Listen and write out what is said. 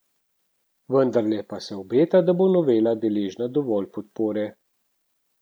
Vendarle pa se obeta, da bo novela deležna dovolj podpore.